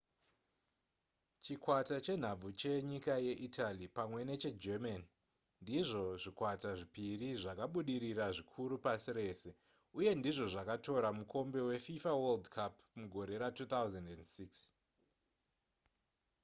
chikwata chenhabvu chenyika yeitaly pamwe neche german ndizvo zvikwata zvepiri zvakabudirira zvikuru pasi rese uye ndizvo zvakatora mukombe wefifa world cup mugore ra2006